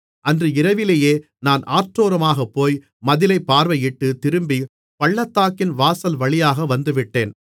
அன்று இரவிலேயே நான் ஆற்றோரமாகப் போய் மதிலைப் பார்வையிட்டுத் திரும்பி பள்ளத்தாக்கின் வாசல்வழியாக வந்துவிட்டேன்